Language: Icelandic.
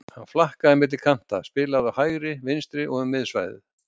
Hann flakkaði milli kanta, spilaði á hægri, vinstri og um miðsvæðið.